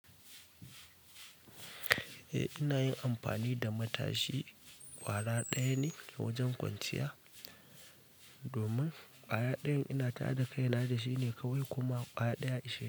Eh ina yin amfani da matashi ƙwara ɗaya ne wajen kwanciya. Domin ƙwaya ɗayan ina ta haɗa kaina da shi ne kawai kuma ƙwaya ɗaya ya ishe.